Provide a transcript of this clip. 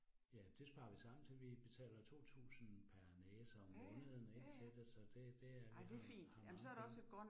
Ja, det sparer vi sammen til. Vi betaler 2000 per næse om måneden ik til det, så det det vi har har mange penge